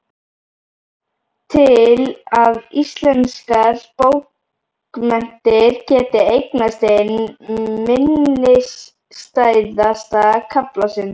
Til að íslenskar bókmenntir geti eignast einn minnisstæðasta kafla sinn.